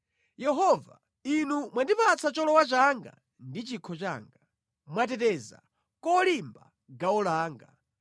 Yehova, Inu mwandipatsa cholowa changa ndi chikho changa; mwateteza kolimba gawo langa.